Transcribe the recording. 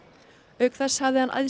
auk þess hafði hann æðsta